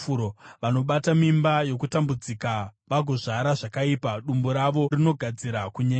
Vanobata mimba yokutambudzika vagozvara zvakaipa; dumbu ravo rinogadzira kunyengera.”